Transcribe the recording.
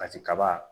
Kati kaba